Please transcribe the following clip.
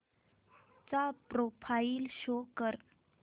चा profile show कर